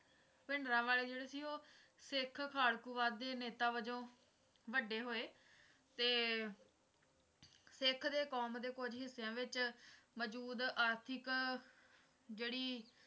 ਭਿੰਡਰਾਂਵਾਲਾ ਜਿਹੜਾ ਸੀ ਉਹ ਸਿੱਖ ਖਾੜਕੂਵਾਦ ਦੇ ਨੇਤਾ ਵਜੋਂ ਵੱਡੇ ਹੋਏ ਤੇ ਸਿੱਖ ਦੇ ਕੌਮ ਦੇ ਕੁਝ ਹਿੱਸਿਆਂ ਦੇ ਵਿਚ ਮੌਜੂਦ ਆਰਥਿਕ ਜਿਹੜੀ